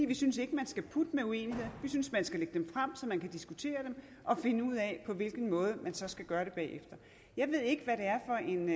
vi synes ikke at man skal putte med uenigheder vi synes at man skal lægge dem frem så man kan diskutere dem og finde ud af på hvilken måde man så skal gøre det bagefter jeg ved ikke hvad det er for en